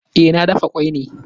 Eh, na dafa kwai ne